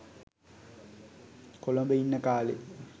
කොළඹ ඉන්න කාලෙ.